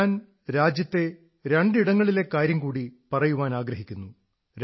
ഞാൻ രാജ്യത്തെ രണ്ടു ഭാഗങ്ങളിലെ കാര്യം കൂടി പറയാനാഗ്രഹിക്കുന്നു